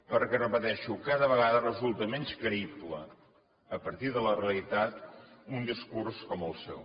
perquè ho repeteixo cada vegada resulta menys creïble a partir de la realitat un discurs com el seu